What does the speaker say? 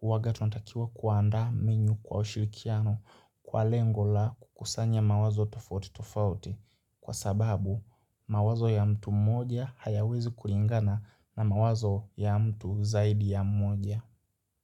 Huwaga tunatakiwa kuandaa menyu kwa ushirikiano kwa lengo la kukusanya mawazo tofauti tofauti. Kwa sababu, mawazo ya mtu moja hayawezi kulingana na mawazo ya mtu zaidi ya moja.